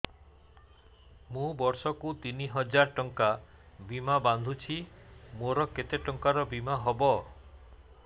ମୁ ବର୍ଷ କୁ ତିନି ହଜାର ଟଙ୍କା ବୀମା ବାନ୍ଧୁଛି ମୋର କେତେ ଟଙ୍କାର ବୀମା ହବ